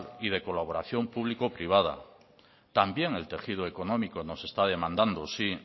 y de colaboración público privada también el tejido económico nos está demandando